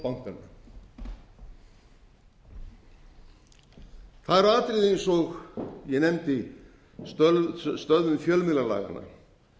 bankanna það eru atriði eins og ég nefndi stöðvun fjölmiðlalaganna